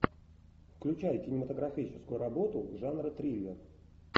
включай кинематографическую работу жанра триллер